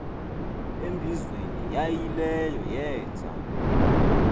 embizweni yaayileyo yeenza